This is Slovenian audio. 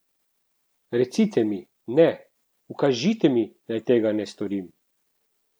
Recite mi, ne, ukažite mi, naj tega ne storim!